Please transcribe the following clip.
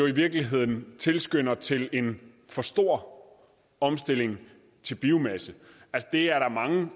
i virkeligheden tilskynder til en for stor omstilling til biomasse der er mange